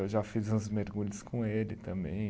Eu já fiz uns mergulhos com ele também.